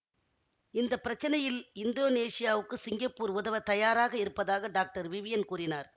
இந்த பிரச்சினையில் இந்தோனீசியாவுக்கு சிங்கப்பூர் உதவ தயாராக இருப்பதாக டாக்டர் விவியன் கூறினார்